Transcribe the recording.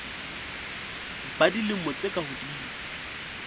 ba dilemo tse ka hodimo